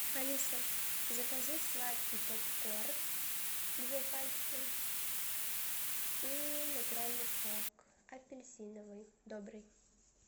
алиса закажи сладкий попкорн две пачки и натуральный сок апельсиновый добрый